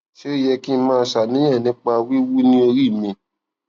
ṣé ó yẹ kí n máa ṣàníyàn nípa wiwu ni ori mi